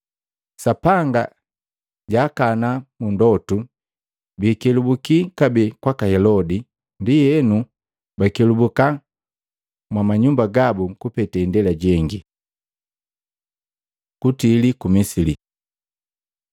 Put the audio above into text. Sapanga jaakana mundotu biikelebuki kabee kwaka Helodi, ndienu bakelubuka mwa manyumba gabu kupete indela jengi. Kutili ku Misili